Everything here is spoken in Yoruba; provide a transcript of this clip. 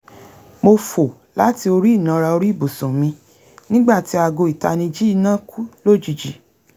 mo fò láti orí ìnara orí ibùsùn mi nígbà tí aago ìtanijí iná kú lójijì